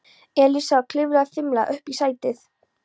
Elísa og klifraði fimlega upp í sætið.